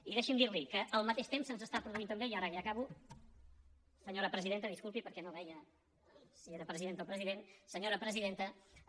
i deixi’m dirli que al mateix temps se’ns està produint també i ara ja acabo senyora presidenta disculpi perquè no veia si era presidenta o president senyora presidenta